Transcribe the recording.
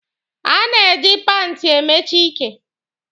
A na-eji paanti emechi ike.